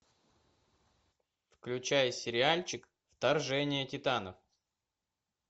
включай сериальчик вторжение титанов